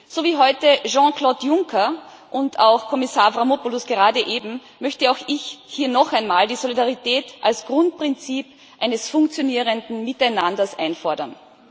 So wie heute Jean Claude Juncker und auch Kommissar Avramopoulos gerade eben möchte auch ich hier noch einmal die Solidarität als Grundprinzip eines funktionierenden Miteinanders einfordern.